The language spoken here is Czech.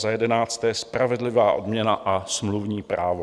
Za jedenácté, spravedlivá odměna a smluvní právo.